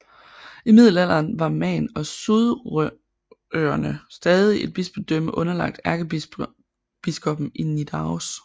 I middelalderen var Man og Sudrøerne stadig et bispedømme underlagt ærkebiskoppen i Nidaros